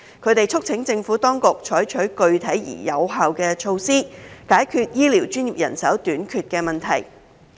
他們促請政府當局採取具體而有效的措施，解決醫療專業人手短缺的問題。